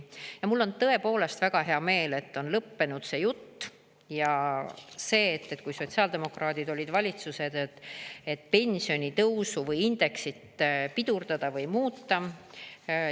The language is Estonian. Ja mul on tõepoolest väga hea meel, et on lõppenud see jutt, et kui sotsiaaldemokraadid olid valitsuses, et pensionitõusu või indeksit pidurdada või muuta.